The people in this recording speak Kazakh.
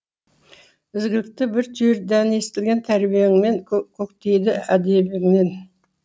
ізгіліктің бір түйір дәні егілген тәрбиеңмен көктейді әдебімен